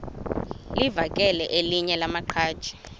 livakele elinye lamaqhaji